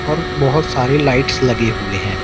और बहोत सारे लाइट्स लगे हुए हैं।